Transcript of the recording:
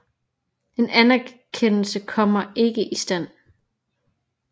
En anerkendelse kommer ikke i stand